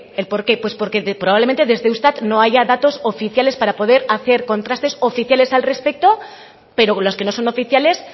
el porqué pues porque de probablemente desde eustat no haya datos oficiales para poder hacer contrastes oficiales al respeto pero con los que no son oficiales